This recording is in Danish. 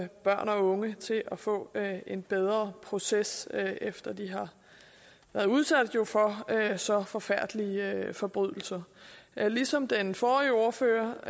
børn og unge til at få en bedre proces efter at de har været udsat for så forfærdelige forbrydelser ligesom den forrige ordfører